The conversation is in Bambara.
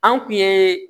An kun ye